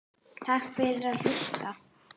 Takk fyrir að hlusta.